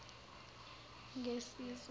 ngesizulu